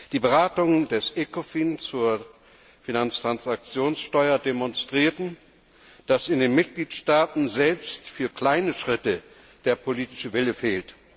Die Beratungen des Ecofin zur Finanztransaktionssteuer demonstrierten, dass in den Mitgliedstaaten selbst für kleine Schritte der politische Wille fehlt.